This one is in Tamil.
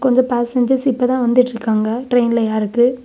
கொஞ்ச பேசஞ்சர்ஸ் இப்பதா வந்துட்ருக்காங்க ட்ரெயின்ல ஏறக்கு.